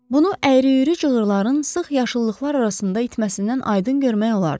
Bunu əyri-üyrü cığırların sıx yaşıllıqlar arasında itməsindən aydın görmək olardı.